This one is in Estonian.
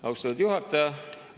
Austatud juhataja!